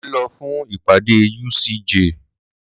Mo ń lọ fún ìpàdé UCJ.